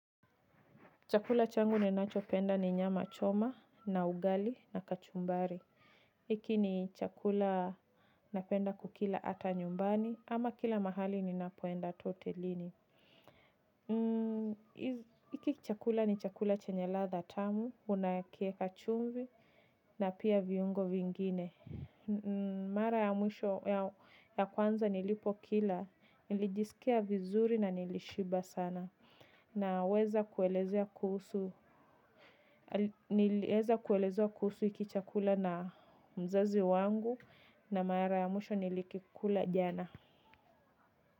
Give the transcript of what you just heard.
Chakula changu ninacho penda ni nyama choma, na ugali, na kachumbari. Hiki ni chakula napenda kukila ata nyumbani, ama kila mahali ninapoenda hata hotelini. Hiki chakula ni chakula chenye ladha tamu, unakiweka chumvi, na pia viungo vingine. Mara ya mwisho ya kwanza nilipokila, nilijisikia vizuri na nilishiba sana, naweza kuelezea kuhusu. Niliweza kuelezwa kuhusu hiki chakula na mzazi wangu na mara ya mwisho nilikikula jana.